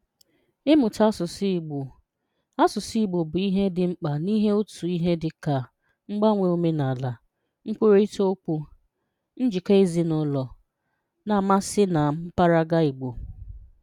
Ị́mụ̀tà àsụ̀sụ̀ Ìgbò àsụ̀sụ̀ Ìgbò bụ̀ ihè dị̀ mkpà n’ìhè̀ ọ̀tù̀ ihè dị̀ ka: Mgbaǹwè òmenàlà, nkwurịtà okwù, njikọ̀ ezinùlọ̀, na m̀asị́ na mpáràgá Igbo